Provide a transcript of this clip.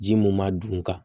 Ji mun ma dun ka